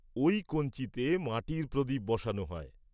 ওই কঞ্চিতে মাটির প্রদীপ বসানো হয়।